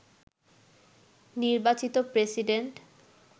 নির্বাচিত প্রেসিডেন্ট